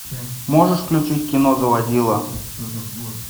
можешь включить кино заводила